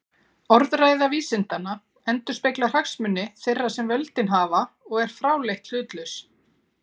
Orðræða vísindanna endurspeglar hagsmuni þeirra sem völdin hafa og er fráleitt hlutlaus.